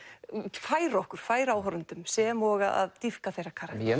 færa okkur færa áhorfendum sem og að dýpka þeirra karakter ég